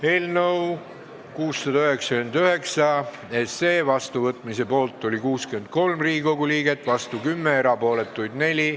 Hääletustulemused Eelnõu 699 seadusena vastuvõtmise poolt oli 63 Riigikogu liiget, vastu 10, erapooletuks jäi 4.